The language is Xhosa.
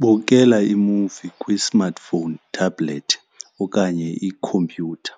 Bukela imuvi kwi-smartphone tablet okanye ikhompyutha,